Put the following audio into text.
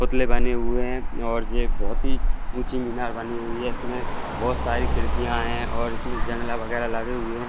पातले बने हुए हैं और यह बहोत ही ऊँची मीनार बानी हुई है इसमें बहोत सारी खिड़किया है और इसमें जंग लागे हुए है।